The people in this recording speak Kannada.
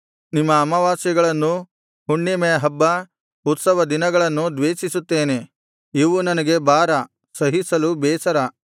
ನಿಮ್ಮ ಅಮಾವಾಸ್ಯೆಗಳನ್ನೂ ಹುಣ್ಣಿಮೆಹಬ್ಬ ಉತ್ಸವ ದಿನಗಳನ್ನೂ ದ್ವೇಷಿಸುತ್ತೇನೆ ಇವು ನನಗೆ ಭಾರ ಸಹಿಸಲು ಬೇಸರ